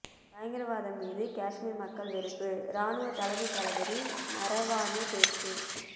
பயங்கரவாதம் மீது காஷ்மீர் மக்கள் வெறுப்பு ராணுவ தலைமை தளபதி நரவானே பேச்சு